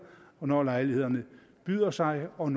når lejligheden byder sig og